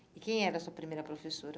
E quem era a sua primeira professora?